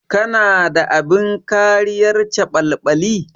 Kana da abin kariyar caɓalɓali?